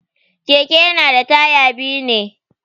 Keke yana da taya biyu ne.